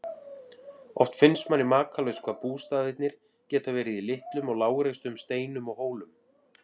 Oft finnst manni makalaust hvað bústaðirnir geta verið í litlum og lágreistum steinum og hólum.